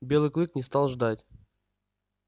белый клык не стал ждать